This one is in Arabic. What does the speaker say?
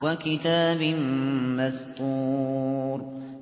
وَكِتَابٍ مَّسْطُورٍ